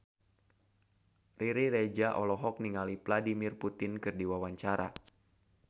Riri Reza olohok ningali Vladimir Putin keur diwawancara